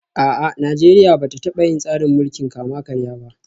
A'a, Najeriya ba ta taba yin tsarin mulkin kama karya ba